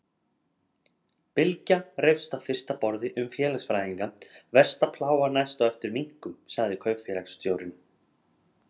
Bylgja reifst á fyrsta borði um félagsfræðinga, versta plága næst á eftir minknum, sagði kaupfélagsstjórinn.